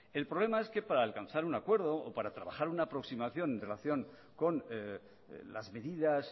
el problema es que para alcanzar un acuerdo o para trabajar una aproximación en relación con las medidas